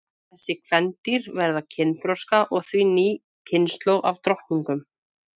Þessi kvendýr verða kynþroska og því ný kynslóð af drottningum.